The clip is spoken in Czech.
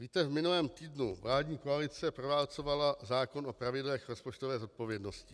Víte, v minulém týdnu vládní koalice proválcovala zákon o pravidlech rozpočtové zodpovědnosti.